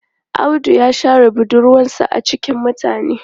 Audu ya share budurwarsa a cikin mutane.